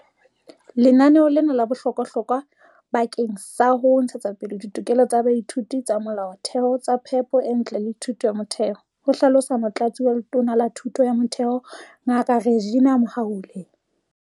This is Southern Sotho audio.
"Lenaneo lena le bohlokwahlokwa bakeng sa ho ntshetsapele ditokelo tsa baithuti tsa molaotheo tsa phepo e ntle le thuto ya motheo," ho hlalosa Motlatsi wa Letona la Thuto ya Motheo, Ngaka Reginah Mhaule.